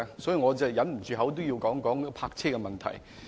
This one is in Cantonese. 所以，我忍不住要談談泊車問題。